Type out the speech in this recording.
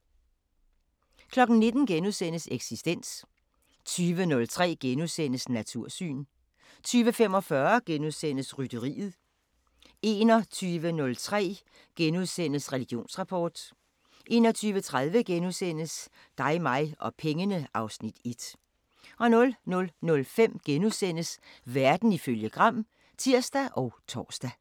19:00: Eksistens * 20:03: Natursyn * 20:45: Rytteriet * 21:03: Religionsrapport 21:30: Dig mig og pengene (Afs. 1)* 00:05: Verden ifølge Gram *(tir og tor)